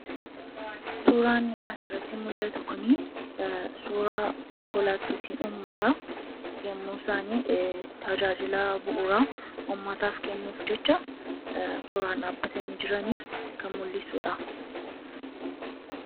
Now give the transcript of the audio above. suuraan asirratti mul'atu kunii suuraa konkolaattootaa ummataa yommuu isaanii tajaajilaa bu'uraa ummataaf kennuuf jecha toraan dhaabbatanii jiranii kan mul'isuudha.